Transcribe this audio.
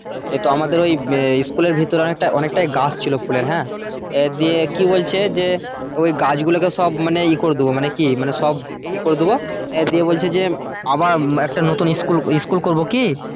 তো আমাদের ওই স্কুলের ভেতরে অনেকটা অনেকটাই গাছ ছিল ফুলের হ্যাঁ? দিয়ে কি বলছে যে ওই গাছগুলোকে সব মানে ইয়ে করে দেবো মানে কি? মানে সব ইয়ে করে দেবো দিয়ে বলছে যে আবার একটা নতুন স্কুল স্কুল করব কি?